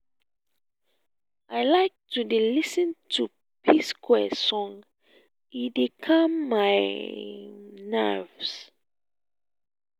i like to dey lis ten to p-square song e dey calm my nerves